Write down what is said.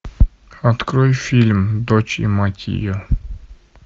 открой фильм дочь и мать ее